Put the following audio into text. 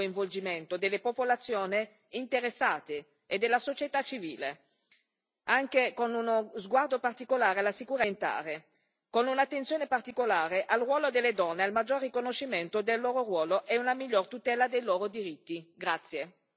È importante che in questo processo ci sia il pieno coinvolgimento delle popolazioni interessate e della società civile, anche con uno sguardo particolare alla sicurezza alimentare, con un'attenzione particolare al ruolo delle donne, a un maggiore riconoscimento del loro ruolo e una migliore tutela dei loro diritti.